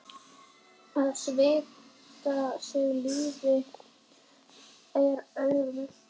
Að svipta sig lífi er auðvelt.